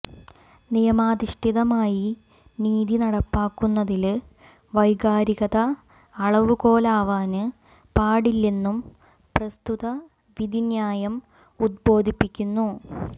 നിയമാധിഷ്ഠിതമായി നീതി നടപ്പാക്കുന്നതില് വൈകാരികത അളവുകോലാവാന് പാടിെല്ലന്നും പ്രസ്തുത വിധിന്യായം ഉദ്ബോധിപ്പിക്കുന്നു